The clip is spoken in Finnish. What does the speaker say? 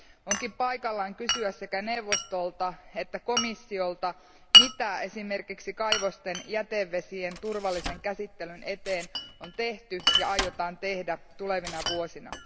Onkin paikallaan kysyä sekä neuvostolta että komissiolta, mitä esimerkiksi kaivosten jätevesien turvallisen käsittelyn eteen on tehty ja aiotaan tehdä tulevina vuosina.